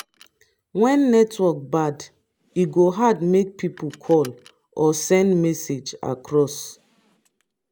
when network bad e go hard make pipo call or send message across.